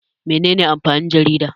Mene ne amfanin jarida?